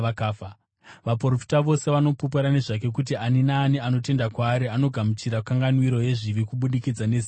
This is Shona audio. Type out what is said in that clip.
Vaprofita vose vanopupura nezvake kuti ani naani anotenda kwaari anogamuchira kanganwiro yezvivi kubudikidza nezita rake.”